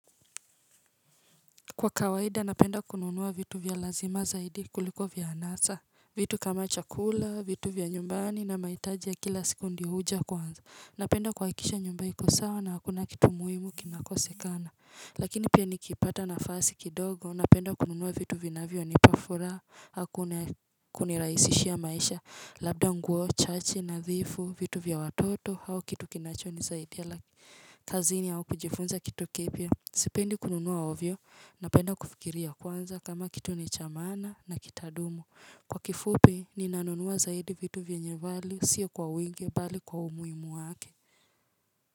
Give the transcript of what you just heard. Kwa kawaida napenda kununua vitu vya lazima zaidi kuliko vya anasa. Vitu kama chakula, vitu vya nyumbani na mahitaji ya kila siku ndio huja kwanza. Napenda kuhakikisha nyumba iko sawa na hakuna kitu muhimu kinakosekana, lakini pia nikipata nafasi kidogo napenda kununua vitu vinavyonipa furaha aah kunirahisishia maisha, labda nguo chache, nadhifu, vitu vya watoto au kitu kinacho nisaidia kazini au kujifunza kitu kipya. Sipendi kununua ovyo napenda kufikiria kwanza kama kitu ni cha maana na kitadumu. Kwa kifupi, ninanunua zaidi vitu vyenye value, siyo kwa winge, bali kwa umuhimu wake.